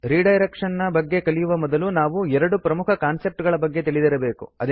redirection ನ ಬಗ್ಗೆ ಕಲಿಯುವ ಮೊದಲು ನಾವು ಎರಡು ಪ್ರಮುಖ ಕಾನ್ಸೆಪ್ಟ್ ಗಳ ಬಗ್ಗೆ ತಿಳಿದಿರಬೇಕು